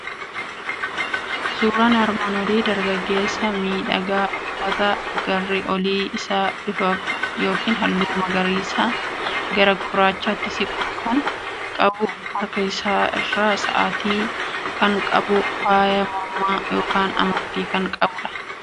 Suuraan armaan olii dargaggeessa miidhagaa uffata garri olii isaa bifa yookiin halluu magariisa gara gurraachatti siqu kan qabu, harka isaa irraa saa'atii kan qabu, faaya mormaa yookiin amartii kan qabu dha.